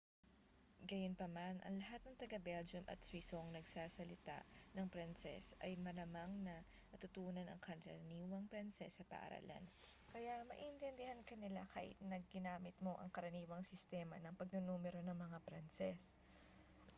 gayunpaman ang lahat ng taga-belgium at swisong nagsasalita ng pranses ay malamang na natutunan ang karaniwang pranses sa paaralan kaya maiintindihan ka nila kahit na ginamit mo ang karaniwang sistema ng pagnunumero ng mga pranses